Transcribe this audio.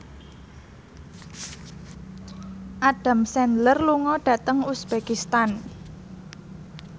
Adam Sandler lunga dhateng uzbekistan